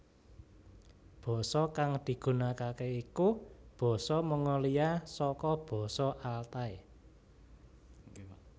Basa kang digunakake iku basa Mongolia saka basa Altai